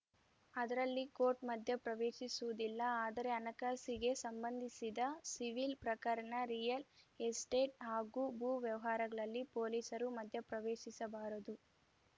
ಅದರಲ್ಲಿ ಕೊರ್ಟ್‌ ಮಧ್ಯಪ್ರವೇಶಿಸುವುದಿಲ್ಲ ಆದರೆ ಹಣಕಾಸಿಗೆ ಸಂಬಂಧಿಸಿದ ಸಿವಿಲ್‌ ಪ್ರಕರಣ ರಿಯಲ್‌ ಎಸ್ಟೇಟ್‌ ಹಾಗೂ ಭೂ ವ್ಯವಹಾರಗಳಲ್ಲಿ ಪೊಲೀಸರು ಮಧ್ಯಪ್ರವೇಶಿಸಬಾರದು